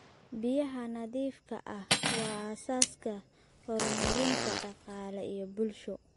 Biyaha nadiifka ah waa aasaaska horumarinta dhaqaale iyo bulsho.